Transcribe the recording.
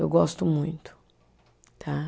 Eu gosto muito, tá?